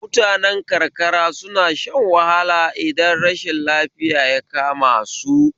Mutane karkara suna shan wahala idan rashin lafiya ya kama su